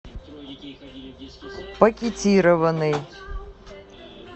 пакетированный